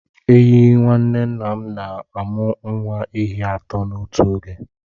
Ehi nwanne nna m na-amụ nwa ehi atọ n'otu oge.